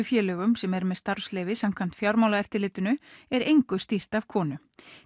félögum sem eru með starfsleyfi samkvæmt Fjármálaeftirlitinu er engu stýrt af konu